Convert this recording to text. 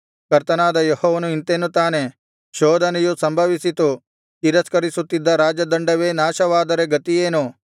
ಕರ್ತನಾದ ಯೆಹೋವನು ಇಂತೆನ್ನುತ್ತಾನೆ ಶೋಧನೆಯು ಸಂಭವಿಸಿತು ತಿರಸ್ಕರಿಸುತ್ತಿದ್ದ ರಾಜದಂಡವೇ ನಾಶವಾದರೆ ಗತಿಯೇನು